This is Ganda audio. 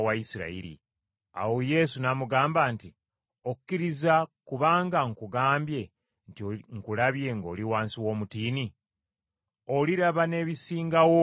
Awo Yesu n’amugamba nti, “Okkiriza kubanga nkugambye nti nkulabye ng’oli wansi w’omutiini? Oliraba n’ebisinga awo obukulu.